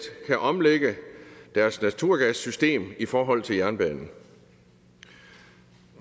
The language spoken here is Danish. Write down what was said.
kan omlægge deres naturgassystem i forhold til jernbanen